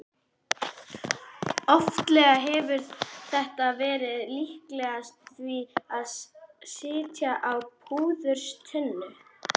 Oftlega hefur þetta verið líkast því að sitja á púðurtunnu.